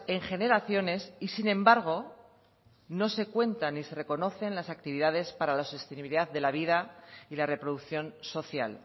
en generaciones y sin embargo no se cuenta ni se reconocen las actividades para la sostenibilidad de la vida y la reproducción social